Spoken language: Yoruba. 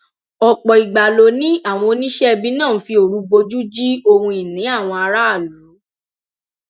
ọpọ ìgbà ló ní àwọn oníṣẹibì náà ń fi òru bojú ji ohunìní àwọn aráàlú